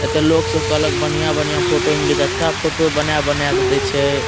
एते लोग सब के अलग बढ़िया-बढ़िया फोटो मिलै छे। एथा फोटो बना बना के बेचे।